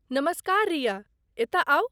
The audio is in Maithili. नमस्कार रिया, एतय आउ।